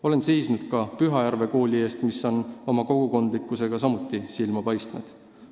Olen seisnud ka Pühajärve kooli eest, mis on samuti oma kogukondlikkusega silma paistnud.